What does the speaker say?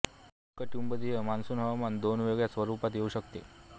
उष्णकटिबंधीय मॉन्सून हवामान दोन वेगळ्या स्वरूपात येऊ शकते